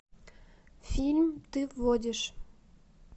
фильм ты водишь